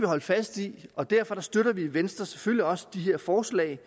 holde fast i og derfor støtter vi i venstre selvfølgelig også de her forslag